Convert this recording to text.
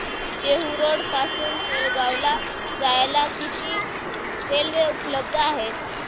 Dehu road पासून तळेगाव ला जायला किती रेल्वे उपलब्ध आहेत